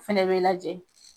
Fɛnɛ bɛ lajɛ